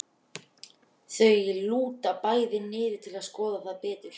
Þau lúta bæði niður til að skoða það betur.